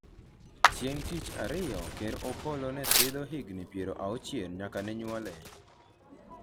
chieng' tich ariyo, ker Opolo ne sidho higni piero auchiel nyaka ne nyuole